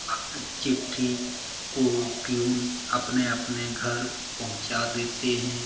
चिट्ठी को पीऊन अपने-अपने घर पहुंचा देते हैं।